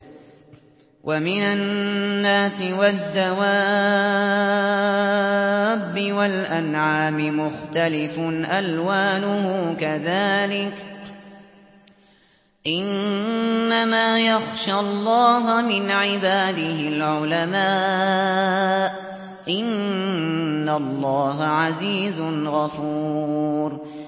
وَمِنَ النَّاسِ وَالدَّوَابِّ وَالْأَنْعَامِ مُخْتَلِفٌ أَلْوَانُهُ كَذَٰلِكَ ۗ إِنَّمَا يَخْشَى اللَّهَ مِنْ عِبَادِهِ الْعُلَمَاءُ ۗ إِنَّ اللَّهَ عَزِيزٌ غَفُورٌ